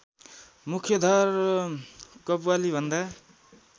मुख्यधार कव्वालीभन्दा